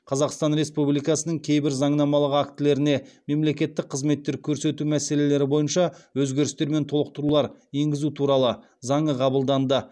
қазақстан республикасының кейбір заңнамалық актілеріне мемлекеттік қызметтер көрсету мәселелері бойынша өзгерістер мен толықтырулар енгізу туралы заңы қабылданды